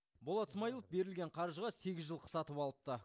болат смаилов берілген қаржыға сегіз жылқы сатып алыпты